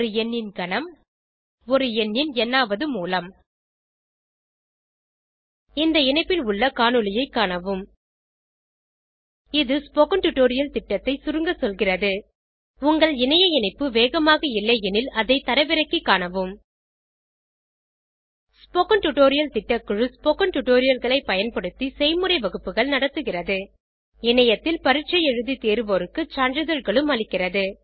ஒரு எண்ணின் கனம் ஒரு எண்ணின் ந் ஆவது மூலம் இந்த இணைப்பில் உள்ள காணொளியைக் காணவும் httpspoken tutorialorgWhat is a spoken tutorial இது ஸ்போகன் டுடோரியல் திட்டம் பற்றி சுருங்க சொல்கிறது உங்கள் இணைய இணைப்பு வேகமாக இல்லையெனில் அதை தரவிறக்கிக் காணவும் ஸ்போகன் டுடோரியல் திட்டக்குழு ஸ்போகன் டுடோரியல்களைப் பயன்படுத்தி செய்முறை வகுப்புகள் நடத்துகிறது இணையத்தில் பரீட்சை எழுதி தேர்வோருக்கு சான்றிதழ்களும் அளிக்கிறது